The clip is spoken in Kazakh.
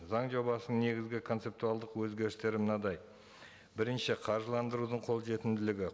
заң жобасының негізгі концептуалдық өзгерістері мынадай бірінші қаржыландырудың қолжетімділігі